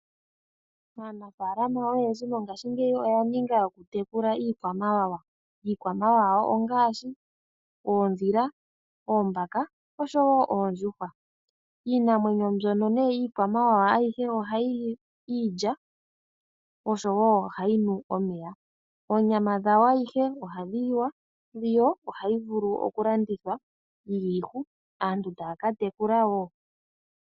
Aanafaalama oyendji mongaashingeyi oyaninga yoku tekula iikwamawawa, iikwamawawa ongaashi oondhila, oombaka oshowo oondjuhwa. Iinamwenyo mbyono nee ayihe yiikwamawawa ohayi li iilya oshowo ohayinu omeya. Oonyama dhawo adhihe ohadhi liwa ,dho ohadhi vulu kulandithwa dhina omwenyo aantu taya katekula ishewe.